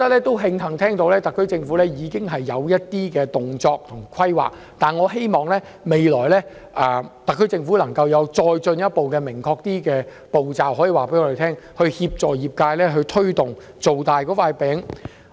我慶幸得知特區政府已採取一些行動及進行規劃，但希望特區政府可以告訴我們，未來有何進一步、更明確的步驟，以協助推動業界把"餅"造大。